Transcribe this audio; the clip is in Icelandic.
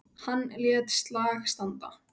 Hann lét slag standa.